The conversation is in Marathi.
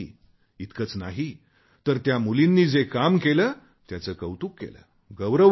इतकेच नाही तर त्या मुलींनी जे काम केले त्याचे कौतुक केले गौरव केला